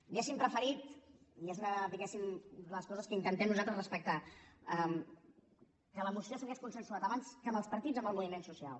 hauríem preferit i és una diguem ne de les coses que intentem nosaltres respectar que la moció s’hagués consensuat abans que amb els partits amb el moviment social